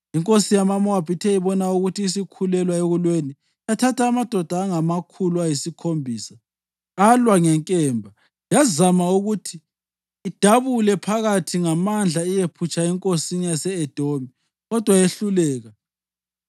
Inkosi yamaMowabi ithe ibona ukuthi isikhulelwa ekulweni, yathatha amadoda angamakhulu ayisikhombisa alwa ngenkemba yazama ukuthi idabule phakathi ngamandla iyephutshela enkosini yase-Edomi, kodwa yehluleka.